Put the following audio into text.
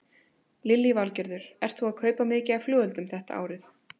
Lillý Valgerður: Ert þú að kaupa mikið af flugeldum þetta árið?